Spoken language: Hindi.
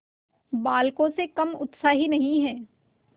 बालकों से कम उत्साही नहीं है